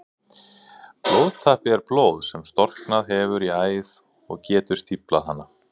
Blóðtappi er blóð sem storknað hefur í æð og getur stíflað hana.